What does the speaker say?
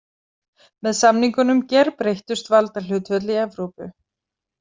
Með samningunum gerbreyttust valdahlutföll í Evrópu.